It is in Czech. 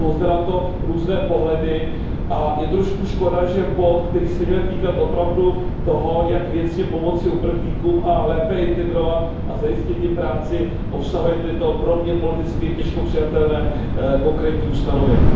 Jsou zde na to různé pohledy a je trošku škoda, že bod, který se měl týkat opravdu toho, jak věcně pomoci uprchlíkům a lépe je integrovat a zajistit jim práci, obsahuje tato pro mě politicky těžko přijatelná konkrétní ustanovení.